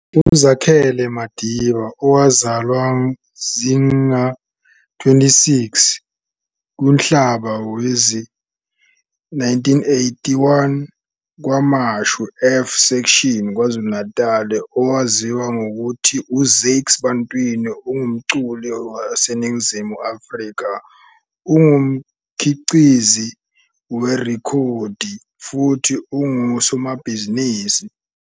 UZakhele Madida, owazalwa zinga-26 kuNhlaba wezi-1981 KwaMashu F-section, KwaZulu-Natal, owaziwa ngokuthi uZakes Bantwini, ungumculi waseNingizimu Afrika, ungumkhiqizi we-rekhodi futhi ungusomabhizinisi.